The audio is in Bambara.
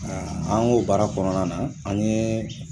an k'o baara kɔnɔna na an ye